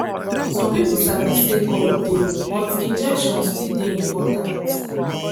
some people sabi say god dey but injection still dey important.